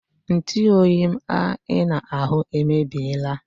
Ntuoyi m a I na-ahụ emebiela